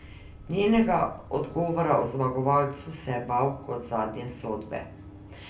Njenega odgovora o zmagovalcu se je bal kot zadnje sodbe.